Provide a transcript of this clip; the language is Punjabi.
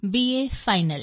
A final